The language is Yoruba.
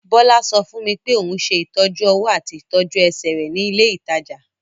Bọ́lá sọ fún mi pé òun ṣe ìtọ́jú-ọwọ́ àti ìtọ́jú-ẹsẹ̀ rẹ̀ ní ilé-ìtajà.